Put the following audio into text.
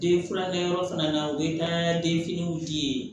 Den furakɛyɔrɔ fana na o bɛ taa den finiw di yen